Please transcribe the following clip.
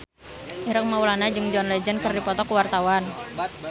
Ireng Maulana jeung John Legend keur dipoto ku wartawan